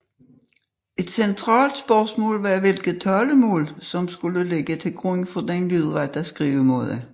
Et centralt spørgsmål var hvilket talemål som skulle ligge til grund for den lydrette skrivemåde